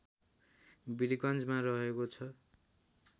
वीरगन्जमा रहेको छ